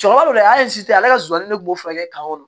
Cɛkɔrɔba don hali si tɛ ale ka nsonsannin ne kun b'o furakɛ ka kɔrɔ